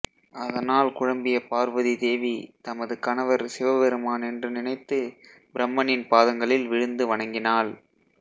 அதனால் குழம்பிய பார்வதி தேவி தமது கணவர் சிவபெருமான் என்று நினைத்து பிரம்மனின் பாதங்களில் விழுந்து வணங்கினாள்